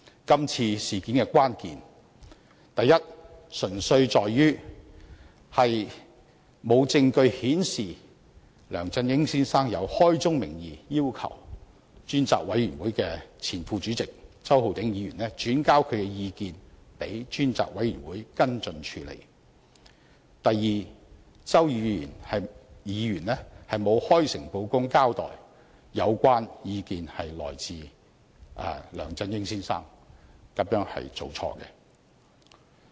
今次事件的關鍵純粹在於：第一，沒有證據顯示梁振英曾開宗明義要求專責委員會前副主席周浩鼎議員，轉交他的意見予專責委員會跟進處理；第二，周議員沒有開誠布公地交代有關意見是來自梁振英先生，這是做錯了。